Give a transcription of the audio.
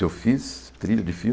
Se eu fiz trilha de filme?